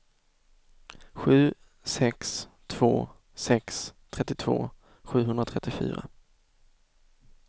sju sex två sex trettiotvå sjuhundratrettiofyra